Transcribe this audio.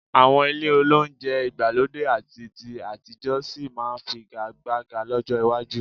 Àwọn ilé olóunjẹ ìgbàlódé àti ti àtijọ́ sì máa figagbága lọ́jọ́ iwájú